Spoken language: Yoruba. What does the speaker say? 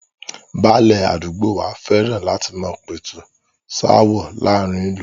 Báálẹ̀ àdúgbò wa fẹ́ràn láti máa pẹ̀tù sááwọ̀ láàrin ìlú